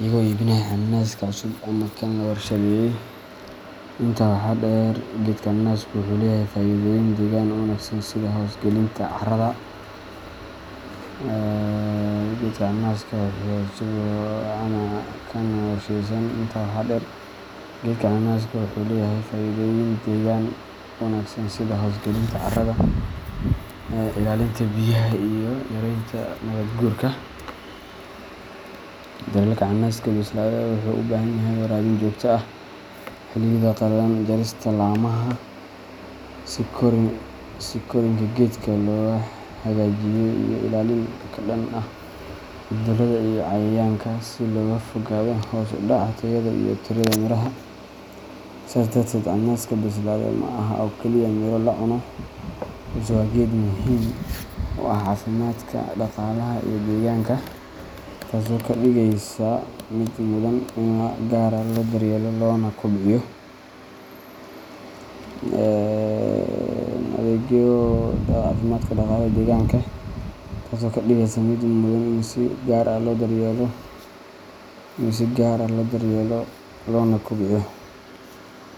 iyagoo iibinaya canaska cusub ama kan la warshadeeyay. Intaa waxaa dheer, geedka canaska wuxuu leeyahay faa’iidooyin deegaanka u wanaagsan sida hoos gelinta carrada, ilaalinta biyaha, iyo yareynta nabaad-guurka. Daryeelka canaska bisilade wuxuu u baahan yahay waraabin joogto ah xilliyada qallalan, jarista laamaha si korriinka geedka loo hagaajiyo, iyo ilaalin ka dhan ah cudurrada iyo cayayaanka si looga fogaado hoos u dhaca tayada iyo tirada miraha. Sidaas darteed, canaska bisilade ma aha oo kaliya miro la cuno, balse waa geed muhiim u ah caafimaadka, dhaqaalaha, iyo deegaanka, taasoo ka dhigaysa mid mudan in si gaar ah loo daryeelo loona kobciyo.